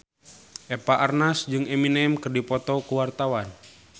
Eva Arnaz jeung Eminem keur dipoto ku wartawan